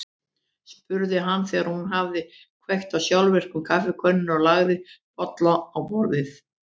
spurði hann þegar hún hafði kveikt á sjálfvirku kaffikönnunni og lagt bolla á borðið.